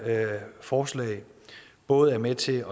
forslag både er med til